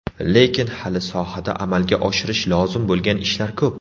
Lekin hali sohada amalga oshirish lozim bo‘lgan ishlar ko‘p.